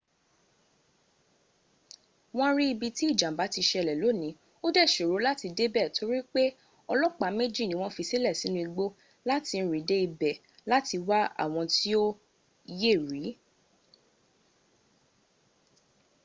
won ri ibi tí ìjàmbá ti ṣẹlẹ̀ lóní ò dẹ́ ṣòró láti débẹ̀ torí olopa méjì ní wọ́n fisílẹ̀ sínu igbó láti rìn dé ibẹ̀ láti wá àwọn tí ó yẹ̀ rí